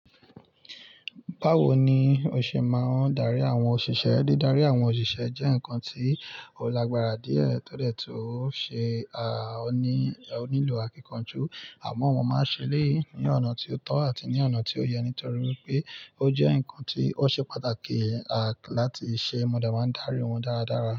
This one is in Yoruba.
Báwo ni o ṣe máa ń darí àwọn òṣìṣẹ́? Dídarí àwọn òṣìṣẹ́ jẹ́ nǹkan tí ó lágbára díẹ̀, tọ́dẹ̀ tun ṣe ó ní, ó nílò àkínkanjú. Amọ mo máa ń ṣe léyìí ní ọ̀nà tí ó tọ́ àti ní ọ̀nà tí ó yẹ, nítorí pé ó jẹ́ nǹkan tí ó ṣe pàtàkì, à, láti ṣe. Mo dẹ máa ń darí wọn dáradára.